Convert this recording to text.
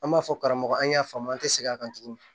An b'a fɔ karamɔgɔ an y'a faamu an tɛ segin a kan tuguni